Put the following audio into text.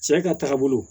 Sɛnɛ ka taga bolo